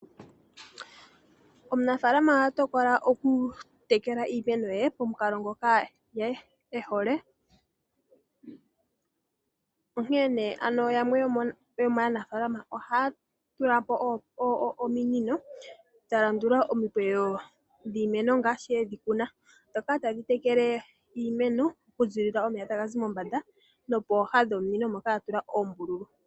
Omunafalama oha tokola oku tekele iimeno yaye, pomukalo ngoka ye ehole, onkee yamwe yomaanafalama ohaya tulapo ominino dha landula omikweyo dhiimeno ngashi yedhi kuna, dhoka tadhi tekele iimeno oku zilila komeya tagazi mombanda nokomunino ngoka gwa tsuwa oombululu.